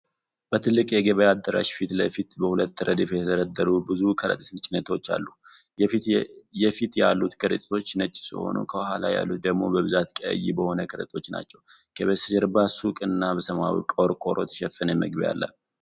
በትልቅ የገበያ አዳራሽ ፊት ለፊት በሁለት ረድፍ የተደረደሩ ብዙ የከረጢት ጭነቶች አሉ። የፊት ያሉት ከረጢቶች ነጭ ሲሆኑ፣ ከኋላ ያሉት ደግሞ በብዛት ቀይ የሆኑ ከረጢቶች ናቸው፤ ከበስተጀርባ ሱቅ እና በሰማያዊ ቆርቆሮ የተሸፈነ መግቢያ አለ።